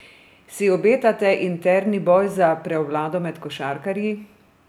Si obetate interni boj za prevlado med košarkarji?